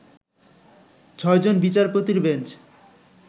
ছয়জন বিচারপতির বেঞ্চ